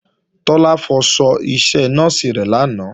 Tọ́lá fọṣọ iṣẹ nọ́ọ̀sì rẹ̀ lánàá